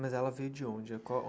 Mas ela veio de onde ãh qual?